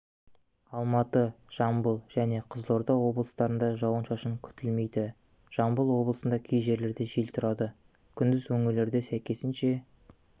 алматы жамбыл және қызылорда облыстарында жауын-шашын күтілмейді жамбыл облысында кей жерлерде жел тұрады күндіз өңірлерде сәйкесінше